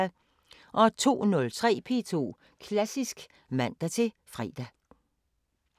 02:03: P2 Klassisk (man-fre)